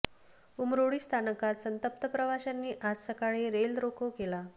उमरोळी स्थानकात संतप्त प्रवाशांनी आज सकाळी रेल रोको केला